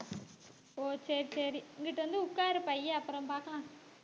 ஓ சரி சரி இங்கிட்டு வந்து உட்காரு பைய அப்புறம் பார்க்கலாம்